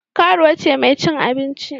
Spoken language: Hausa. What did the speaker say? Karuwa ce mai cin abinci.